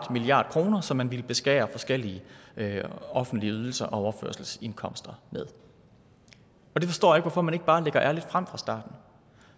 milliard kr som man ville beskære forskellige offentlige ydelser og overførselsindkomster med det forstår jeg ikke hvorfor man ikke bare lagde ærligt frem fra starten